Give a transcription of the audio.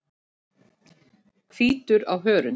Hvítur á hörund.